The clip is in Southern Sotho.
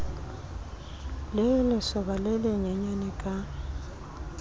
le lesoba le lenyenyane ka